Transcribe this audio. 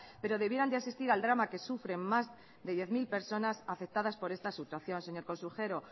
pero debieran de asistir al drama que sufren más de diez mil personas afectadas por esta situación señor consejero